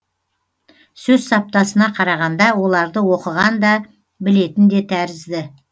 сөз саптасына қарағанда оларды оқыған да білетін де тәрізді